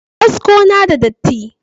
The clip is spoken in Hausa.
Kaskon na da datti.